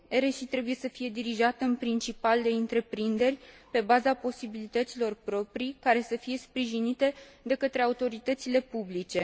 RSI trebuie să fie dirijată în principal de întreprinderi pe baza posibilităților proprii, care să fie sprijinite de către autoritățile publice.